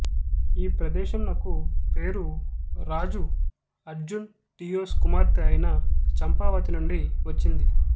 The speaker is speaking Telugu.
ఈ ప్రదేశంనకు పేరు రాజు అర్జున్ డియోస్ కుమార్తె అయిన చంపావతి నుండి వచ్చింది